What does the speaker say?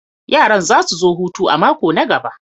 Yaran za su zo hutu a mako na gaba.